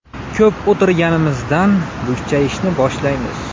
Ko‘p o‘tirganimizdan bukchayishni boshlaymiz.